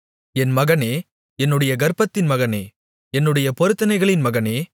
என் மகனே என்னுடைய கர்ப்பத்தின் மகனே என்னுடைய பொருத்தனைகளின் மகனே